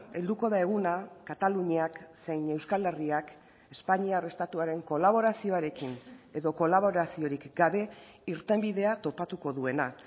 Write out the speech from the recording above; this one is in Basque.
helduko da eguna kataluniak zein euskal herriak espainiar estatuaren kolaborazioarekin edo kolaboraziorik gabe irtenbidea topatuko duena